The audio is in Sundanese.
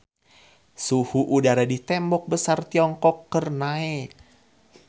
Suhu udara di Tembok Besar Tiongkok keur naek